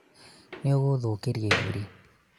nĩũgũthũkĩrĩa iburi